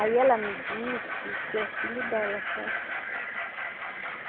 Aí ela me disse que é filho dela, sabe?